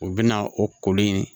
U bɛna o kolen